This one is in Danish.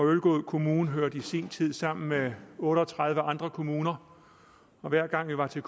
ølgod kommune hørte i sin tid sammen med otte og tredive andre kommuner og hver gang vi var til